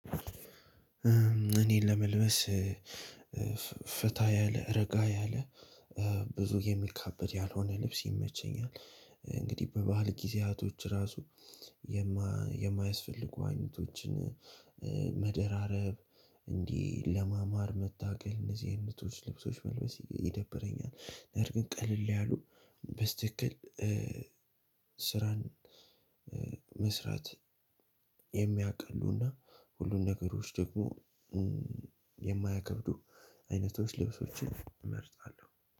እኔ ለመልበስ ፈታ ያለ፤ ረጋ ያለ፤ ብዙ የሚካበድ ያልሆነ ልብስ ይመቸኛል። እንግዲህ በበዓል ጊዜያቶች ራሱ የማያስፈልጉ አይነቶችን መደራረብ እንዲህ ለማማር መታገል እንደዚህ አይነቶች ልብሶች መልበስ ይደብረኛል። በእርግጥ ቀለል ያሉ በትክክል ስራን መስራት የሚያቀሉና፤ ሁሉም ነገሮችን ደግሞ የማያከብዱ አይነቶች ልብሶችን እመርጣለሁ።